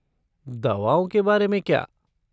दवाओं के बारे में क्या?